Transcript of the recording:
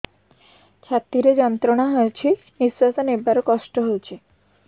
ଛାତି ରେ ଯନ୍ତ୍ରଣା ହେଉଛି ନିଶ୍ଵାସ ନେବାର କଷ୍ଟ ହେଉଛି